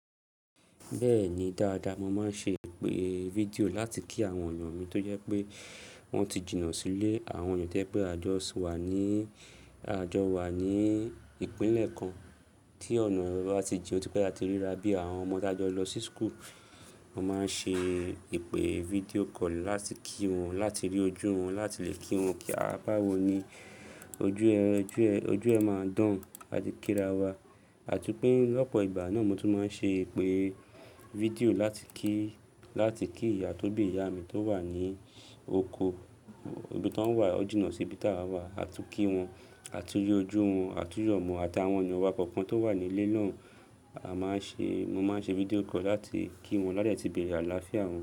Bẹ́ẹ̀ni dáadáa, mo máa ń ṣe ìpè fídíò láti kí àwọn ènìyàn mi tó jẹ pé wọ́n ti jìnà sílé, àwọn ènìyàn to jẹ pé àjọ wa ní, àjọ wa ní ìpínlẹ̀ kan, tí ọ̀nà rẹ̀ bá ti jìn otipé táti ríra bí àwọn ọmọ tá jọ lọ sí school, mo máa ń ṣe ìpè fídíò call láti kí wọn, láti rí ojú wọn, láti lè kí wọn kí à báwọ ní, ojú ẹ, ojú ẹ máa dùn làti kíra wa. Àti pé lọ́pọ̀ ìgbà náà mo tún máa ń ṣe ìpè fídíò láti kí, láti kí ìyá tó bí ìyá mi tó wà ní oko, ibi tań wà ó jìnà sí ibi táwà wa, àtun kí wọn, àtu yojú wọn, àtu yọmọ wọn ati awon èyàn wa kọ̀ọ̀kan tó wà ní ilé náà, a máa ń ṣe, mo máa ń ṣe fídíò call láti kí wọn láàde tí bere àlàáfíà wọn.